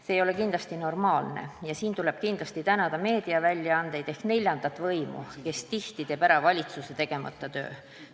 See ei ole kindlasti normaalne ja tuleb tänada meediaväljaandeid ehk neljandat võimu, kes tihti teeb ära valitsuse tegemata töö.